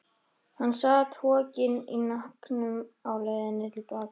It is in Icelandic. Hann sat hokinn í hnakknum á leiðinni til baka.